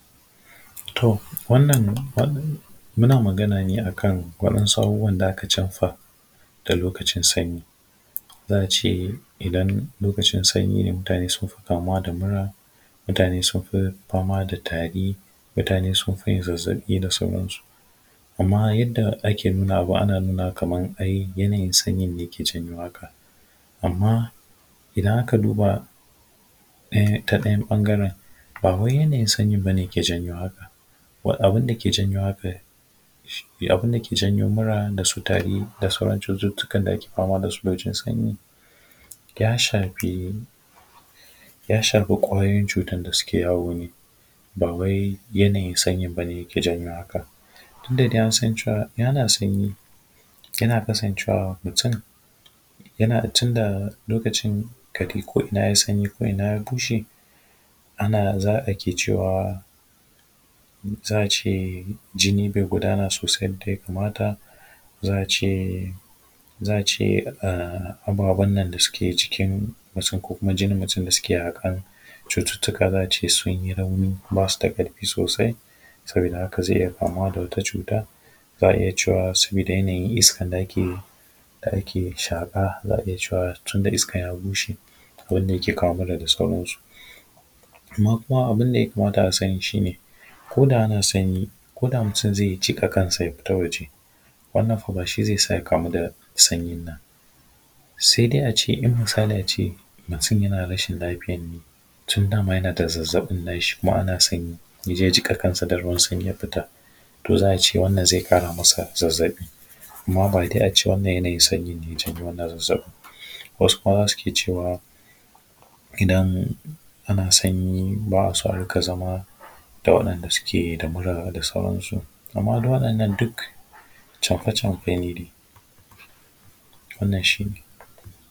To, wannan muna magana ne a kan waɗansu abubuwan da aka camfa da lokacin sanyi. Za a ce idan lokacin sanyi ne, mutane suka fi kamuwa da mura, mutane sun fi fama da tari, mutane sun fi yin zazzaɓi da sauransu. Amma yadda ake nunawa, ana nuna kaman ai yanayin sanyin ne ke janyo haka. Amma idan aka duba, ta ɗayan ɓangaren, ba wai yanayin sanyin ba ne ke janyo haka. Abin da ke janyo haka shi ne, abin da ke janyo mura da su tari da sauran cututtukan da ake fama Abin da ke janyo haka da su lokacin sanyi, ya shafi, ya shafi ƙwayoyin utan da suke yawo ne, ba wai yanayin sanyin ba ne yake janyo haka. Tun da dai an san cewa in ana sanyi, yana kasancewa mutum, yana tunda lokacin ka ji ko ina ya yi sanyi, ko ina ya bushe, ana za a ke cewa, za a ce jini bai gudana sosai yadda ya kamata, za a ce, za a ce ababen nan da suke cikin mutum ko kuma jinin mutum da suke haƙan cututtuka za a ce sun yi rauni ba su da ƙarfi sosai, sabida haka zai iya kamuwa da wata cuta, za a iya cewa sabida yanayin iskar da ake yi, da ake shaƙa, za a iya cewa tunda iskan ya bushe, abin da yake awo mura da sauransu. Amma kuma abin da ya kamata a sani shi ne, ko da ana sanyi, ko da mutum zai jiƙa kansa ya fita waje, wannan fa ba shi zai sa ya kamu da sanyin nan. Sai dai a ce, in misali a ce mutum yana rashin lafiyan ne, to dama yana da zazzaɓin nashi kuma ana sanyi, ya je, ya jiƙa kansa da ruwan sanyi, ya fita,, to za a ce, wannan zai ƙara masa zazzaɓi. Amma ba dai a ce wannan yanayin sanyin ne ya janyo wannan zazzaɓin. Wasu kuma za su ke cewa, idan ana sanyi ba a so a riƙa zama da waɗanda suke da mura da sauransu. Amma waɗannan duk camfe camfe ne dai. Wannan shi ne.